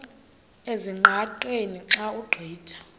ezingqaqeni xa ugqitha